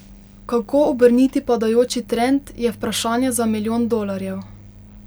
Kako obrniti padajoči trend, je vprašanje za milijon dolarjev.